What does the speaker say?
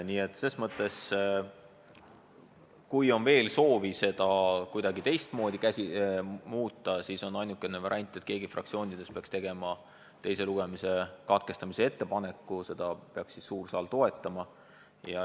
Nii et kui on veel soovi seda kuidagi muuta, siis on ainukene variant, et keegi fraktsioonidest teeb teise lugemise katkestamise ettepaneku ja suur saal toetab seda.